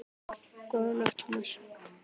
Góða nótt, Thomas